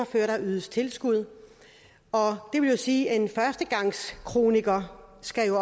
før der ydes tilskud og det vil jo sige at en førstegangskroniker skal